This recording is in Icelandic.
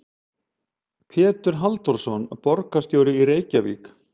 Pétur Halldórsson, borgarstjóri í Reykjavík.